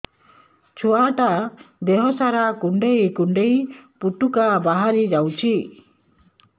ଛୁଆ ଟା ଦେହ ସାରା କୁଣ୍ଡାଇ କୁଣ୍ଡାଇ ପୁଟୁକା ବାହାରି ଯାଉଛି